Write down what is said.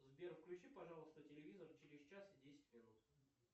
сбер включи пожалуйста телевизор через час и десять минут